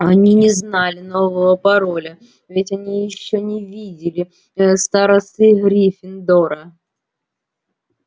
они не знали нового пароля ведь они ещё не видели ээ старосты гриффиндора